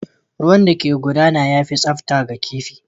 Ruwan da ke gudana ya fi tsafta ga kifi